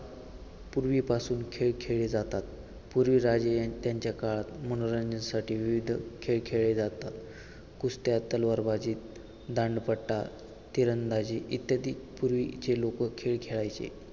पूर्वीपासून खेळ खेळले जातात. पूर्वी राजे यांच्या काळात मनोरंजनासाठी विविध खेळ खेळले जातात. कुस्त्या, तलवारबाजी, दांडपट्टा, तिरंदाजी इत्यादी पूर्वीचे लोक खेळ खेळायचे.